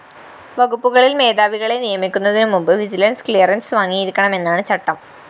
വകുപ്പുകളില്‍ മേധാവികളെ നിയമിക്കുന്നതിനു മുമ്പ് വിജിലൻസ്‌ ക്ലിയറൻസ്‌ വാങ്ങിയിരിക്കണമെന്നാണ് ചട്ടം